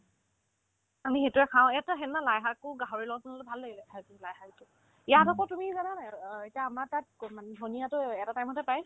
আমি সেইটোয়ে খাও এইটো সেনেকা লাই শাকো গাহৰিৰ লগত বনালে ভাল লাগিলে খাই পিনে লাইশাকতো ইয়াত আকৌ তুমি জানানে নাই অ এতিয়া আমাৰ তাত গ মানে ধনিয়াতো এটা time তে পাই